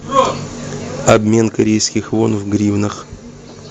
обмен корейских вон в гривнах